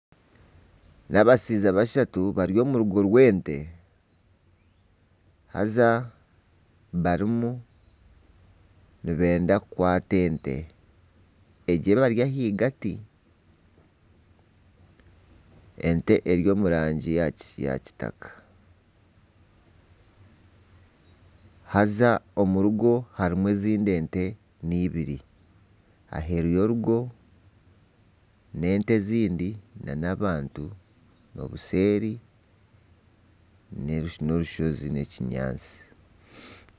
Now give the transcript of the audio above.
Ni abashaija bashatu bari omu rugo rw'ente haza barimu nibenda kukwata ente egi ebari ahagati. Ente eri omu rangi ya kitaka haza omu rugo harimu ezindi ente n'ibiri. Aheeru y'orugo n'ente ezindi nana abantu. Obuseeri n'orushozi n'ekinyaatsi.